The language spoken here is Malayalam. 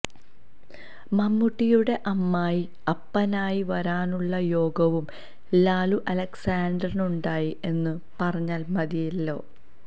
മമ്മൂട്ടിയുടെ അമ്മായി അപ്പനായി വരാനുള്ള യോഗവും ലാലു അലക്സിനുണ്ടായി എന്നു പറഞ്ഞാല് മതിയല്ലോ